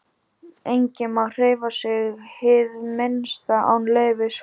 Enginn má hreyfa sig hið minnsta án leyfis frá